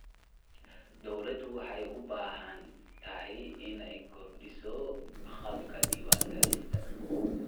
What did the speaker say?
Dawladdu waxay u baahan tahay inay kordhiso agabka diiwaangelinta.